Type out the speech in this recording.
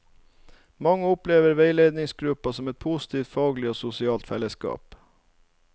Mange opplever veiledningsgruppa som et positivt faglig og sosialt fellesskap.